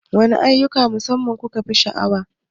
Waɗanne ayyukan na musamman kukefi sha'awar?